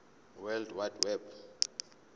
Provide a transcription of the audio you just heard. world wide web